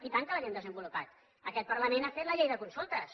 i tant que l’havíem desenvolupat aquest parlament ha fet la llei de consultes